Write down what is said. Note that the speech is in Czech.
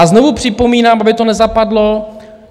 A znovu připomínám, aby to nezapadlo.